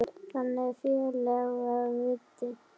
Þannig félagi var Viddi.